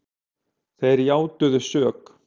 Þeir játuðu sök